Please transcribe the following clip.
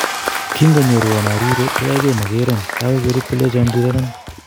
Kin konyoruan arire ko yoege mogeron ndawege ko orit kolenjon rirenon.